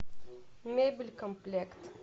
мебель комплект